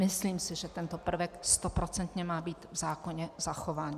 Myslím si, že tento prvek stoprocentně má být v zákoně zachován.